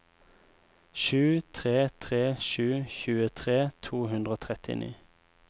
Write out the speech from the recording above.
sju tre tre sju tjuetre to hundre og trettini